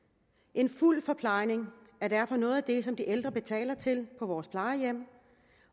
en fuld forplejning er derfor noget af det som de ældre betaler til på vores plejehjem